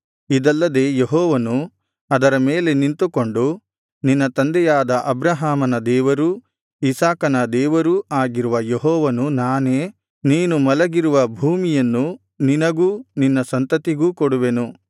ಇದಲ್ಲದೆ ಯೆಹೋವನು ಅದರ ಮೇಲೆ ನಿಂತುಕೊಂಡು ನಿನ್ನ ತಂದೆಯಾದ ಅಬ್ರಹಾಮನ ದೇವರೂ ಇಸಾಕನ ದೇವರೂ ಆಗಿರುವ ಯೆಹೋವನು ನಾನೇ ನೀನು ಮಲಗಿರುವ ಭೂಮಿಯನ್ನು ನಿನಗೂ ನಿನ್ನ ಸಂತತಿಗೂ ಕೊಡುವೆನು